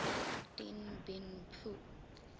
dien bien phu